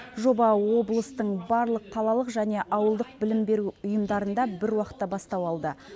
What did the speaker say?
жоба облыстың барлық қалалық және ауылдық білім беру ұйымында бір уақытта бастау алды